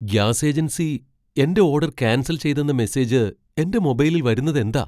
Gas agency എന്റെ order cancel ചെയ്തെന്ന message എന്റെ മൊബൈലിൽ വരുന്നതെന്താ?